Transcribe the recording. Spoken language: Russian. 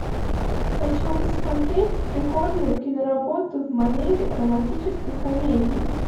хочу посмотреть прикольную киноработу в манере романтической комедии